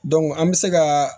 an bɛ se ka